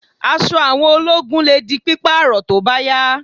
Aṣọ àwọn ológun lè di pípààrọ̀ tó bá yá